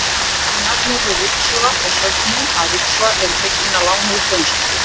Bæði nafnorðið ryksuga og sögnin að ryksuga eru fengin að láni úr dönsku.